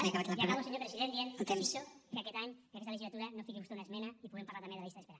i acabo senyor president dient que desitjo que aquest any i aquesta legislatura no fiqui vostè una esmena i puguem parlar també de la llista d’espera